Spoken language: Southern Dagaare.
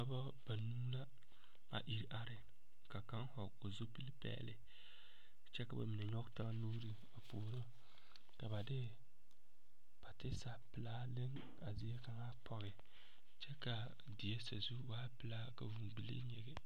Dɔba banuu la a iri are, ka kaŋ vɔgeli zupili pɛɛle kyɛ ka ba mine nyɔge taa nuuri a puoro ka ba depatiisa pelaa a leŋ a zie kaŋa pɔge kyɛ kaa die sazu waa pelaa ka vuuŋ bilii nyigi.